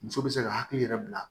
Muso bɛ se ka hakili yɛrɛ bila